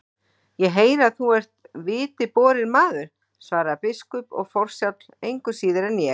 Ég heyri að þú ert viti borinn maður, svaraði biskup,-og forsjáll, engu síður en ég.